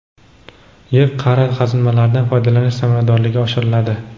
yer qa’ri qazilmalaridan foydalanish samaradorligi oshiriladi:.